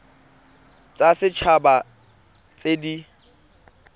tsa set haba tse di